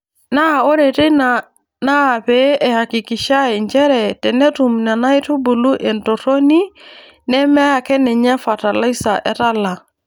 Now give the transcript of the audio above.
Naa ore teina naapee eyakikishae nchere tenetum Nena aitubulu aitorroni nemeakeninye fatalaisa etala.